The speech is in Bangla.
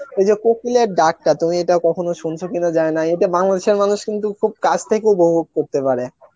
এইযে কোকিলের ডাক্তার তুমি এটা কখনো শুনেছো কিনা জানিনা এতে বাংলাদেশের মানুষ কিন্তু খুব পাশ থেকে উপভোগ করতে পারে